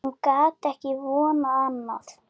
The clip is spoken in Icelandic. Hún gat ekki vonað annað.